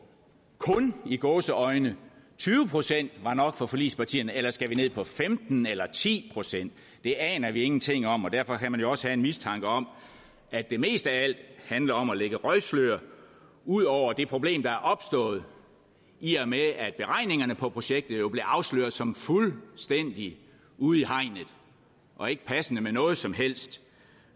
kun i gåseøjne tyve procent var nok for forligspartierne eller skal ned på femten procent eller ti procent det aner vi ingenting om og derfor kan man jo også have en mistanke om at det mest af alt handler om at lægge røgslør ud over det problem der er opstået i og med at beregningerne på projektet jo blev afsløret som fuldstændig ude i hegnet og ikke passende med noget som helst